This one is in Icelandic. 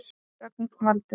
Rögnvaldur